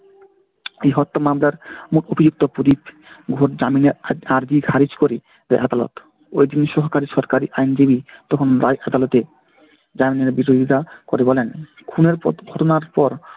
এই হত্যা মামলার মূল অভিযুক্ত আর্জি খারিজ করে দেয় আদালত। ওই তিন সহকারী সরকারি আইনজীবী তখন আদালতে। বিরোধিতা করে বলেন খুনের পর, ঘটনার পর